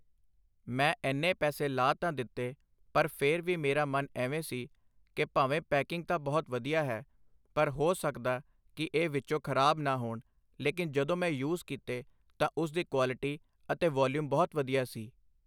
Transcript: ਮੈਂ ਇੰਨੇ ਪੈਸੇ ਲਾ ਤਾਂ ਦਿੱਤੇ, ਪਰ ਫਿਰ ਵੀ ਮੇਰਾ ਮਨ ਐਵੇਂ ਸੀ ਕਿ ਭਾਵੇਂ ਪੈਕਿੰਗ ਤਾਂ ਬਹੁਤ ਵਧੀਆ ਹੈ, ਪਰ ਹੋ ਸਕਦਾ ਕਿ ਇਹ ਵਿੱਚੋਂ ਖ਼ਰਾਬ ਨਾ ਹੋਣ, ਲੇਕਿਨ ਜਦੋਂ ਮੈਂ ਯੂਜ਼ ਕੀਤੇ ਤਾਂ ਉਸ ਦੀ ਕੁਆਲਟੀ ਅਤੇ ਵੋਲੀਅਮ ਬਹੁਤ ਵਧੀਆ ਸੀ ।